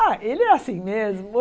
Ah, ele é assim mesmo.